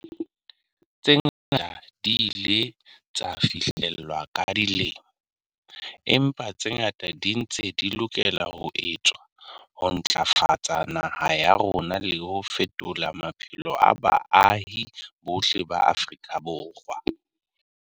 Tse ngata di ile tsa fihlellwa ka dilemo, empa tse ngata di ntse di lokela ho etswa ho ntlafatsa naha ya rona le ho fetola maphelo a baahi bohle ba Afrika Borwa.